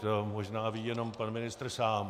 To možná ví jenom pan ministr sám.